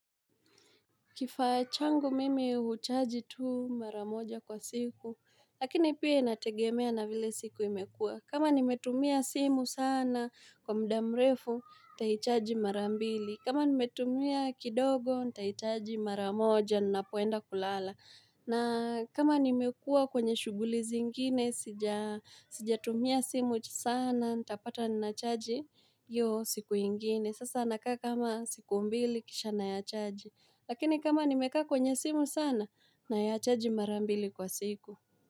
Kifaa changu mimi huchaji tu maramoja kwa siku, lakini pia inategemea na vile siku imekua. Kama nimetumia simu sana kwa muda mrefu, ntaichaji marambili. Kama nimetumia kidogo, ntaichaji maramoja, ninapoenda kulala. Na kama nimekua kwenye shuguli zingine, sija tumia simu sana, ntapata nachaji iyo siku ingine. Sasa nakaa kama siku mbili, kisha naya chaji. Lakini kama nimeka kwenye simu sana nayachaji marambili kwa siku.